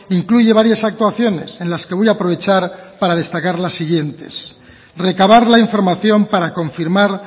incluye varias actuaciones en las que voy a aprovechar para destacar las siguientes recabar la información para confirmar